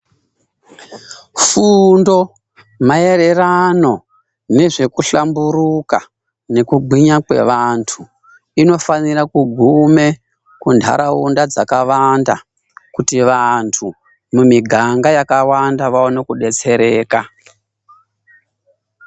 Fundo maererano nezvekuhlamburuka nekugwinya kwevantu, inofanire kugume kunharaunda dzakawanda kuti vantu mumiganga yakawanda vaone kubetsereka.